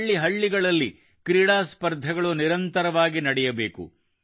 ಹಳ್ಳಿಹಳ್ಳಿಗಳಲ್ಲಿ ಕ್ರೀಡಾ ಸ್ಪರ್ಧೆಗಳು ನಿರಂತರವಾಗಿ ನಡೆಯಬೇಕು